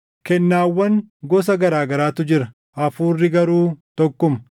Kennaawwan gosa garaa garaatu jira; Hafuurri garuu tokkuma.